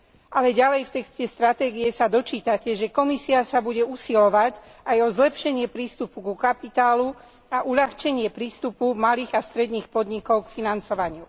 Ale ďalej v texte stratégie sa dočítate, že Komisia sa bude usilovať aj o zlepšenie prístupu ku kapitálu a o uľahčenie prístupu malých a stredných podnikov k financovaniu.